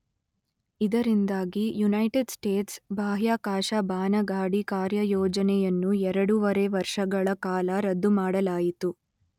ಇದರಿಂದಾಗಿ United States ಬಾಹ್ಯಾಕಾಶ ಬಾನಗಾಡಿ ಕಾರ್ಯಯೋಜನೆಯನ್ನು ಎರಡುವರೆ ವರ್ಷಗಳ ಕಾಲ ರದ್ದುಮಾಡಲಾಯಿತು.